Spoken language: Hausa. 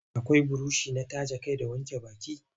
Akai burushi na taje kai da na wanke baki.